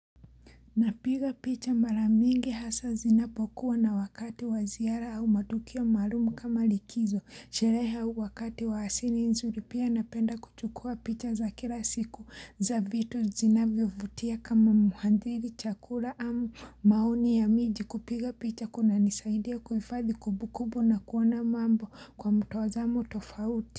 Napiga picha mara mingi hasa zinapokuwa na wakati wa ziara au matukio maalumu kama likizo, sherehe au wakati wa hasini nzuri pia napenda kuchukua picha za kila siku za vitu zinavyo vutia kama muhandiri chakula au maoni ya miji kupiga picha kunanisaidia kuhifadhi kumbukumbu na kuona mambo kwa mtazamo tofauti.